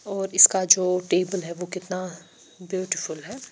और इसका जो टेबल है वो कितना ब्यूटीफुल है।